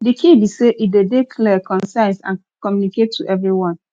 di key be say e dey dey clear concise and communicate to everyone